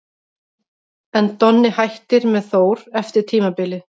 En Donni hættir með Þór eftir tímabilið.